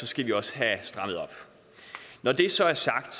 skal vi også have strammet op når det så er sagt